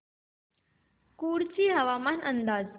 कुडची हवामान अंदाज